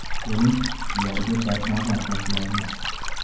Keling, ularga bir nazar tashlaymiz.